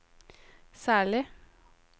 særlig